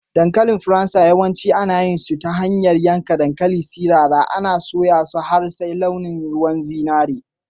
Dankalin na Faransa, yawanci ana yin su ta hanyar yankan dankalin sirara, ana soya su har sai launin ruwan zinari.